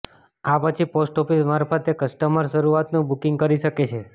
આ પછી પોસ્ટઓફિસ મારફતે કસ્ટરમર શરૂઆતનું બુકિંગ કરી શકે છે